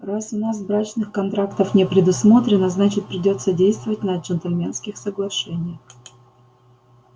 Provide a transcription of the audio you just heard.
раз у нас брачных контрактов не предусмотрено значит придётся действовать на джентльменских соглашениях